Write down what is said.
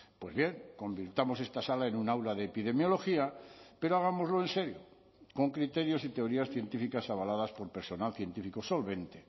pues bien convirtamos esta sala en un aula de epidemiología pero hagámoslo en serio con criterios y teorías científicas avaladas por personal científico solvente